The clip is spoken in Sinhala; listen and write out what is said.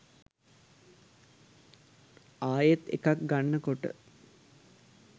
ආයෙත් එකක් ගන්න කොට